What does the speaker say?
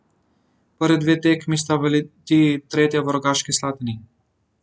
Prvi dve tekmi sta v Litiji, tretja v Rogaški Slatini.